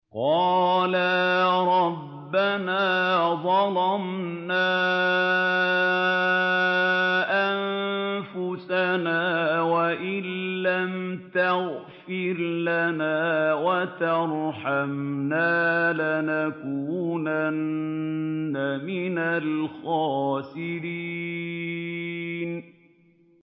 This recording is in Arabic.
قَالَا رَبَّنَا ظَلَمْنَا أَنفُسَنَا وَإِن لَّمْ تَغْفِرْ لَنَا وَتَرْحَمْنَا لَنَكُونَنَّ مِنَ الْخَاسِرِينَ